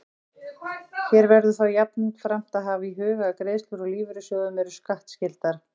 Hér verður þó jafnframt að hafa í huga að greiðslur úr lífeyrissjóðum eru skattskyldar.